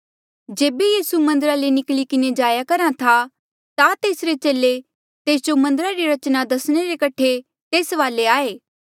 जेबे यीसू मन्दरा ले निकली किन्हें जाया करहा था ता तेसरे चेले तेस जो मन्दरा री रचना दसणे रे कठे तेस वाले आये